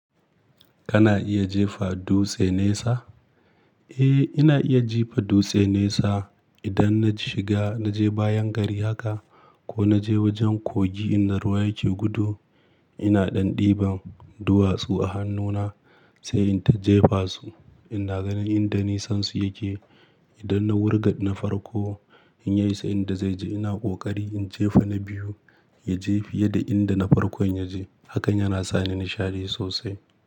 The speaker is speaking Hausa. Kana iya jefa dutse nesa? Eh, ina iya jefa dutse nesa. Idan na shiga na je bayan gari haka ko na je wajen kogi inda ruwa yake gudu, ina ɗan ɗiban duwatsu a hannuna sai in ta jefasu. Ina ganin inda nisansu yake. Idan na wurga na farko in ya isa inda zai je ina ƙoƙari in jefa na biyu ya je fiye da inda na farkon ya je. Hakan yana sa ni nishaɗi sosai.